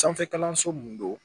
Sanfɛ kalanso mun don